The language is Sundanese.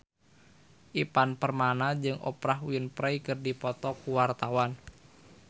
Ivan Permana jeung Oprah Winfrey keur dipoto ku wartawan